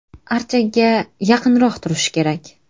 Archaga yaqinroq turishi kerak.